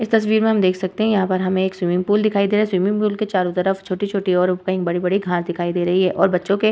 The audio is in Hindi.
इस तस्वीर में हम देख सकते है यहाँ पर हमें एक स्विमिंग पूल दिखाई दे रहा है स्विमिंग पूल के चारो तरफ छोटी-छोटी और कही बड़े-बड़े घास दिखाई दे रही हैं और बच्चो के--